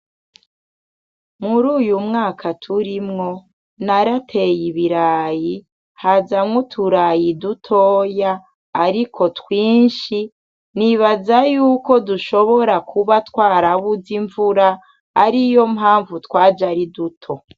Mur'uyu mwaka turimwo, narateye ibirayi, hazamwo uturayi dutoya ariko twinshi. Nibaza yuko dushobora kuba twarabuze imvura, ariyo mpamvu twaje ari duto.